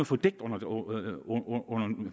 fordækt under